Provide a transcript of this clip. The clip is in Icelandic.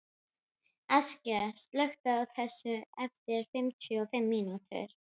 Askja, slökktu á þessu eftir fimmtíu og fimm mínútur.